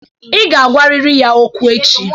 Ị ga agwarịrị ya okwu echi!